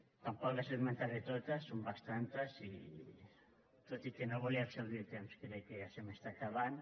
tampoc les esmentaré totes són bastantes i tot i que no volia exhaurir el temps crec que ja se m’està acabant